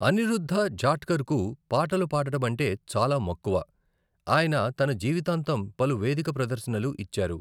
అనిరుద్ధ జాట్కర్‌కు పాటలు పాడడమంటే చాలా మక్కువ, అయిన తన జీవితాంతం పలు వేదిక ప్రదర్శనలు ఇచ్చేరు.